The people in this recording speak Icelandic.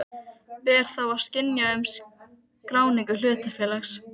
Þorkell Helgason tekur við starfi orkumálastjóra.